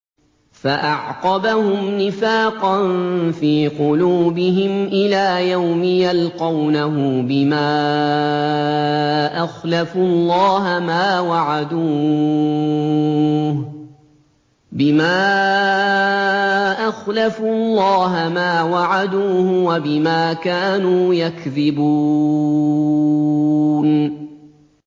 فَأَعْقَبَهُمْ نِفَاقًا فِي قُلُوبِهِمْ إِلَىٰ يَوْمِ يَلْقَوْنَهُ بِمَا أَخْلَفُوا اللَّهَ مَا وَعَدُوهُ وَبِمَا كَانُوا يَكْذِبُونَ